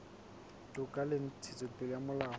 toka le ntshetsopele ya molao